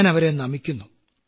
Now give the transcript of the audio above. ഞാനവരെ നമിക്കുന്നു